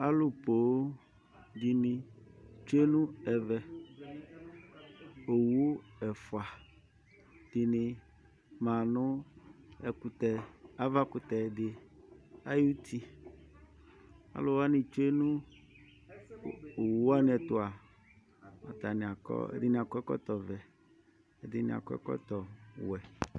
Alʋ poo dɩnɩ tsue nʋ ɛvɛ Owu ɛfʋa dɩnɩ ma nʋ ɛkʋtɛ, avakʋtɛ ayuti Alʋ wanɩ tsue nʋ owu wanɩ ɛtʋ a, atanɩ akɔ ɛdɩnɩ akɔ ɛkɔtɔvɛ, ɛdɩnɩ akɔ ɛkɔtɔwɛ